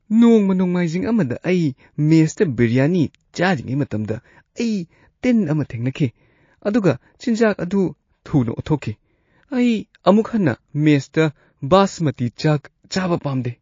ꯅꯣꯡꯃ ꯅꯣꯡꯃꯥꯏꯖꯤꯡ ꯑꯃꯗ ꯑꯩ ꯃꯦꯁꯇ ꯕꯤꯔꯤꯌꯥꯅꯤ ꯆꯥꯔꯤꯉꯩ ꯃꯇꯝꯗ, ꯑꯩ ꯇꯤꯟ ꯑꯃ ꯊꯦꯡꯅꯈꯤ ꯑꯗꯨꯒ ꯆꯤꯟꯖꯥꯛ ꯑꯗꯨ ꯊꯨꯅ ꯑꯣꯊꯣꯛꯈꯤ꯫ ꯑꯩ ꯑꯃꯨꯛ ꯍꯟꯅ ꯃꯦꯁꯇ ꯕꯥꯁꯃꯇꯤ ꯆꯥꯛ ꯆꯥꯕ ꯄꯥꯝꯗꯦ꯫